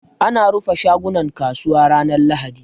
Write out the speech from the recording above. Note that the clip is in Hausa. Ana rufe shagunan kasuwa ranar lahadi